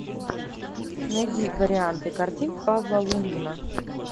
найди варианты картин павла лунгина